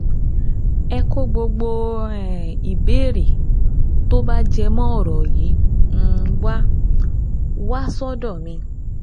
Ẹ kó gbogbo um ìbéèrè tó bá jẹ mọ́ ọ̀rọ̀ yìí um wá wá sọ́dọ̀ mi